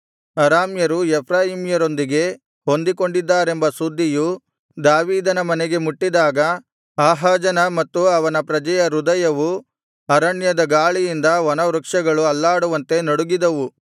ಅರಾಮ್ಯರು ಎಫ್ರಾಯೀಮ್ಯರೊಂದಿಗೆ ಹೊಂದಿಕೊಂಡಿದ್ದಾರೆಂಬ ಸುದ್ದಿಯು ದಾವೀದನ ಮನೆಗೆ ಮುಟ್ಟಿದಾಗ ಆಹಾಜನ ಮತ್ತು ಅವನ ಪ್ರಜೆಯ ಹೃದಯವು ಅರಣ್ಯದ ಗಾಳಿಯಿಂದ ವನವೃಕ್ಷಗಳು ಅಲ್ಲಾಡುವಂತೆ ನಡುಗಿದವು